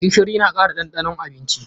Gishiri na kara ɗanɗanon abinci.